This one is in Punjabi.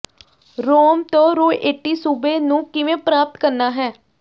ਰੋਮ ਤੋਂ ਰੋਏਟੀ ਸੂਬੇ ਨੂੰ ਕਿਵੇਂ ਪ੍ਰਾਪਤ ਕਰਨਾ ਹੈ